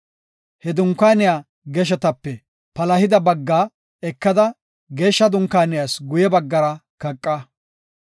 He dunkaaniya geshetape palahida baggaa ekada Geeshsha Dunkaaniyas guye baggara kaqa.